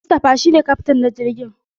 Mustapha shi ne kyaftin na jirgin.